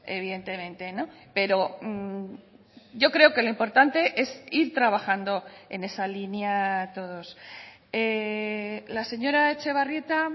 evidentemente pero yo creo que lo importante es ir trabajando en esa línea todos la señora etxebarrieta